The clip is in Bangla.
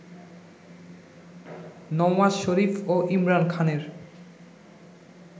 নওয়াজ শরীফ ও ইমরান খানের